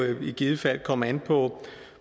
jo i givet fald komme an på